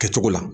Kɛcogo la